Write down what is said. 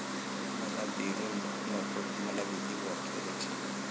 मला बिरुदं नकोत, मला भीती वाटते त्यांची.